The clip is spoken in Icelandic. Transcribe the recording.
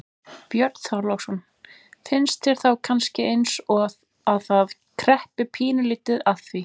Björn Þorláksson: Finnst þér þá kannski eins og að það kreppi pínulítið að því?